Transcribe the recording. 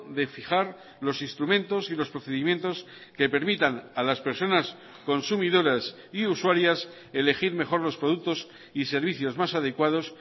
de fijar los instrumentos y los procedimientos que permitan a las personas consumidoras y usuarias elegir mejor los productos y servicios más adecuados